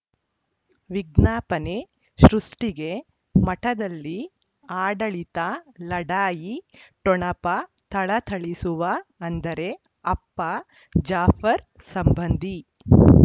ವಿಜ್ಞಾಪನೆ ಸೃಷ್ಟಿಗೆ ಮಠದಲ್ಲಿ ಆಡಳಿತ ಲಢಾಯಿ ಠೊಣಪ ಥಳಥಳಿಸುವ ಅಂದರೆ ಅಪ್ಪ ಜಾಫರ್ ಸಂಬಂಧಿ